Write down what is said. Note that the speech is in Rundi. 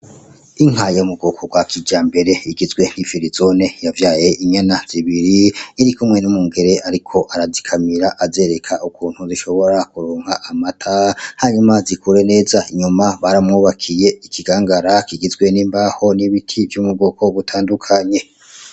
Inka yo mu bwoko bwa kijambere, igizwe n'ifirizone yavyaye inyana zibiri, irikumwe n'umwungere ariko arazikamira, azereka ukuntu zishobora kuronka amata, hanyuma zikure neza, inyuma baramwubakiye ikigangara kigizwe n'imbaho, n'ibiti vyo mu bwoko butandukanye.